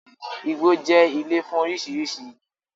Igbo jẹ́ ilé fún oríṣiríṣi igi